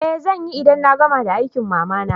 Eh zanyi, idan na gama da aikin mama na.